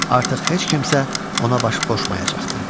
Artıq heç kimsə ona baş qoşmayacaqdı.